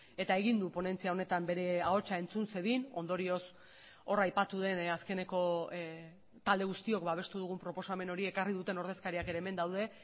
eta egin du ponentzia honetan bere ahotsa entzun zedin ondorioz hor aipatu den azkeneko talde guztiok babestu dugun proposamen hori ekarri duten ordezkariak ere hemen daude